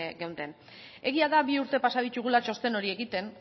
geunden egia da bi urte pasa ditugula txosten hori egiten